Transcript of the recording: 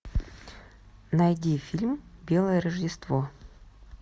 найди фильм белое рождество